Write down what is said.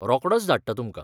रोकडोंच धाडटां तुमकां!